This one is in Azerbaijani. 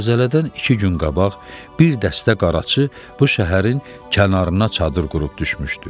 Zəlzələdən iki gün qabaq bir dəstə qaraçı bu şəhərin kənarına çadır qurub düşmüşdü.